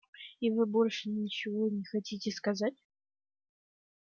и вы больше ничего не хотите сказать